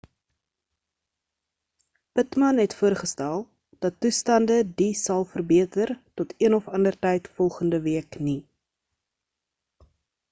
pittman het voorgestel dat toestande die sal verbeter tot een of ander tyd volgende week nie